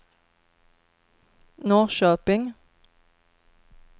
Norrköping